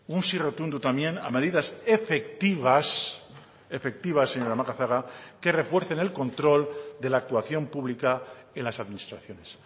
un sí rotundo también a medidas efectivas efectivas señora macazaga que refuercen el control de la actuación pública en las administraciones